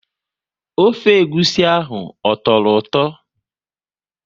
Ofe egwusi ahụ ọ tọrọ ụtọ?